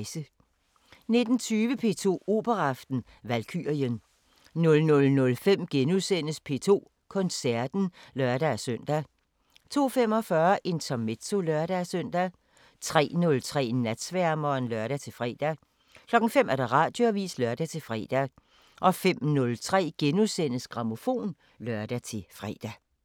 19:20: P2 Operaaften: Valkyrien 00:05: P2 Koncerten *(lør-søn) 02:45: Intermezzo (lør-søn) 03:03: Natsværmeren (lør-fre) 05:00: Radioavisen (lør-fre) 05:03: Grammofon *(lør-fre)